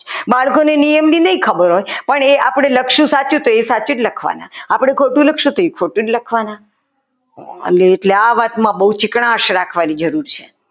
બાળકોને નિયમની નહીં ખબર હોય પણ એ આપણે લખશું સાચું તો એ સાચું જ લખવાના આપણે ખોટું લખશું તો એ ખોટું જ લખવાના અને એટલે આ વાતમાં બહુ ચીકાશ રાખવાની જરૂર છે.